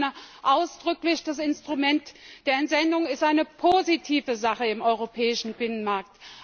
Ich betone ausdrücklich Das Instrument der Entsendung ist eine positive Sache im europäischen Binnenmarkt.